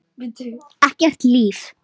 Ekkert líf.